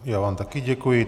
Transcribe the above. Já vám také děkuji.